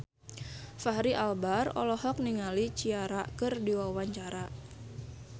Fachri Albar olohok ningali Ciara keur diwawancara